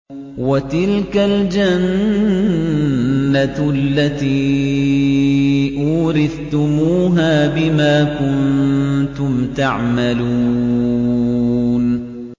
وَتِلْكَ الْجَنَّةُ الَّتِي أُورِثْتُمُوهَا بِمَا كُنتُمْ تَعْمَلُونَ